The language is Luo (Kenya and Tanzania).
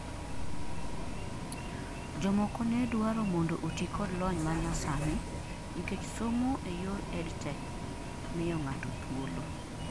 jomoko ne dwaro mondo oti kod lony manyasani nikech somo e yor EdTech miyo ng'ato thuolo